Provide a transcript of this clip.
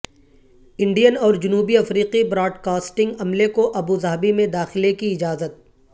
Indian اور جنوبی افریقی براڈکاسٹنگ عملے کو ابوظہبی میں داخلے کی اجازت